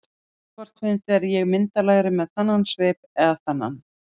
Hvort finnst þér ég myndarlegri með þennan svip eða þennan?